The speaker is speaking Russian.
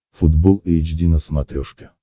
футбол эйч ди на смотрешке